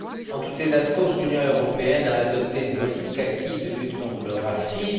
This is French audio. En tout état de cause, l'Union européenne a adopté une politique active de lutte contre le racisme.